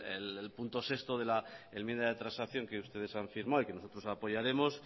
el punto seis de la enmienda de transacción que ustedes han firmado y que nosotros apoyaremos